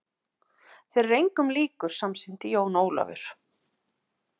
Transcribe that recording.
Þeir eru engum líkir, samsinnti Jón Ólafur.